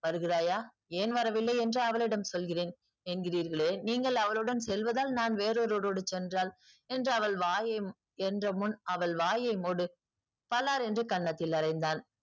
வருகிறாயா? ஏன் வரவில்லை என்று அவளிடம் சொல்கிறேன் என்கிறீர்களே நீங்கள் அவளுடன் செல்வதால் நான் வேறொருவருடன் சென்றால் என்று அவள் வாயை என்ற முன் அவள் வாயை மூடு பளார் என்று கன்னத்தில் அறைந்தான்.